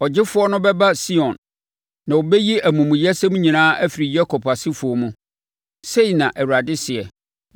“Ɔgyefoɔ no bɛba Sion, na ɔbɛyi amumuyɛsɛm nyinaa afiri Yakob asefoɔ mu,” sei na Awurade seɛ.